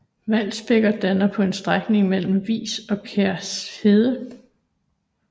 Valsbækker danner på en strækning grænsen mellem Vis og Kær Herred